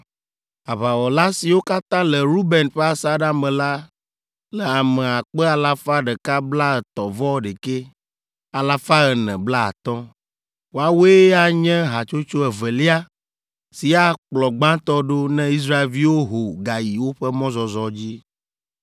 Aʋawɔla siwo katã le Ruben ƒe asaɖa me la le ame akpe alafa ɖeka blaatɔ̃-vɔ-ɖekɛ, alafa ene blaatɔ̃ (151,450). Woawoe anye hatsotso evelia si akplɔ gbãtɔ ɖo ne Israelviwo ho gayi woƒe mɔzɔzɔ dzi.